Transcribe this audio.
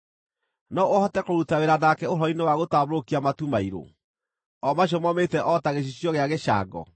no ũhote kũruta wĩra nake ũhoro-inĩ wa gũtambũrũkia matu mairũ, o macio momĩte o ta gĩcicio gĩa gĩcango?